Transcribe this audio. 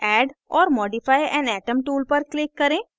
add or modify an atom tool पर click करें